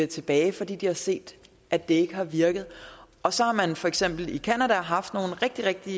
tilbage fordi de har set at det ikke har virket og så har man for eksempel i canada haft nogle rigtig rigtig